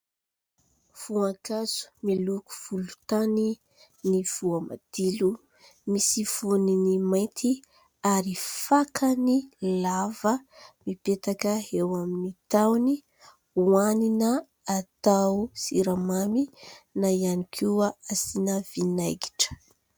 Voankazo miloko volontany ny voamadilo, misy voniny mainty ary fakany lava mipetaka eo amin'ny tahony hohanina atao siramamy na ihany koa asiana vinaingitra.